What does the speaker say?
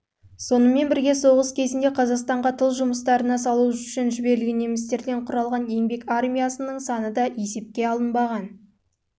сонымен бірге соғыс кезінде қазақстанға тыл жұмыстарына салу үшін жіберілген немістерден құралған еңбек армиясының саны есепке алынбаған